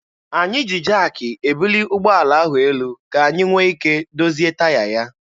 Anyị ji jaakị ebuli ụgbọala ahụ elu ka anyị nwee ike dozie taya ya.